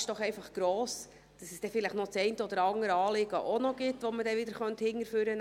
Denn die Gefahr ist gross, dass es noch das eine oder andere Anliegen gibt, das man auch wieder hervorholen könnte.